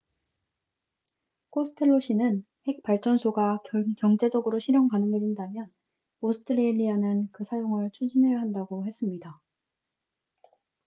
코스텔로 씨는 핵발전소가 경제적으로 실현 가능해진다면 오스트레일리아는 그 사용을 추진해야 한다고 했습니다